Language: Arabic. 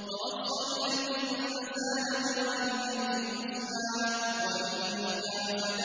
وَوَصَّيْنَا الْإِنسَانَ بِوَالِدَيْهِ حُسْنًا ۖ